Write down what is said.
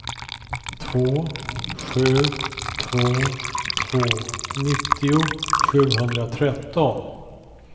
två sju två två nittio sjuhundratretton